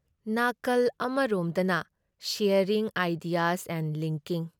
ꯅꯥꯀꯜ ꯑꯃꯔꯣꯝꯗꯅ sharing ideas and linking".